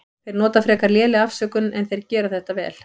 Þeir nota frekar lélega afsökun en þeir gera þetta vel.